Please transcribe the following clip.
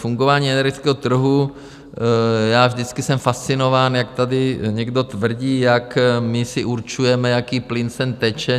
Fungování energetického trhu - vždycky jsem fascinován, jak tady někdo tvrdí, jak my si určujeme, jaký plyn sem teče.